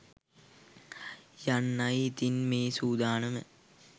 යන්නයි ඉතින් මේ සූදානම